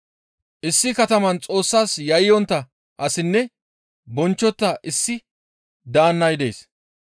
«Issi kataman Xoossas yayyontta asinne bonchchontta issi daannay dees.